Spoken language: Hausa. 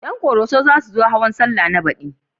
Ƴan ƙoroso za su zo hawan sallah na baɗi